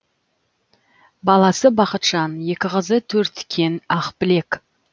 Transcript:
баласы бақытжан екі қызы төрткен ақбілек